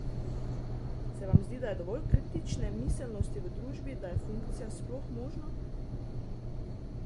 Se vam zdi, da je dovolj kritične miselnosti v družbi, da je funkcija sploh možna?